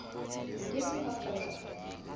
ho ke ke ha qojwa